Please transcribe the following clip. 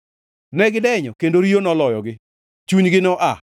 Ne gidenyo kendo riyo noloyogi, chunygi noa.